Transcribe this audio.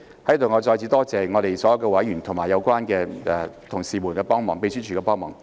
在此，我再次感謝所有委員及相關同事及秘書處的幫忙。